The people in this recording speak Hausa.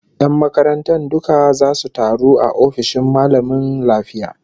Yan makarantar duka zasu taru a ofishin mallamin lafiya